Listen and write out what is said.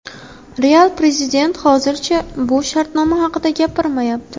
Real prezidenti hozircha bu shartnoma haqida gapirmayapti.